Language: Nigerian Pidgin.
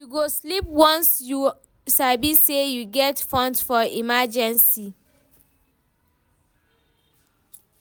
You go sleep well once you sabi say you get funds for emergency.